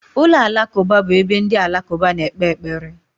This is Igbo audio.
Ụlọ alakụba bụ ebe ndị alakụba na-ekpe ekpere.